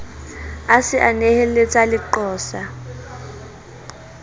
a se a neheletsa leqosa